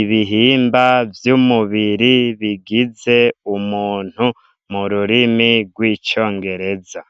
ibihimba vy'umubiri bigize umuntu mu rurimi rw'icongereza.